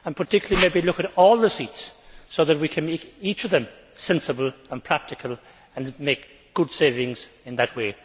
In particular, we should look at all the seats so that we can make each of them sensible and practical and make good savings in that way.